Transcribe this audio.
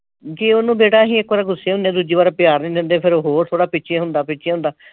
ਜੇ ਉਹਨੂੰ ਬੇਟਾ ਅਸੀਂ ਇੱਕ ਵਾਰ ਗੁੱਸੇ ਹੁਨੇ ਆ ਦੂਜੀ ਵਾਰ ਪਿਆਰ ਨਈਂ ਦਿੰਦੇ ਫਿਰ ਉਹ ਥੋੜ੍ਹਾ ਪਿੱਛੇ ਹੁੰਦਾ, ਪਿੱਛੇ ਹੁੰਦਾ।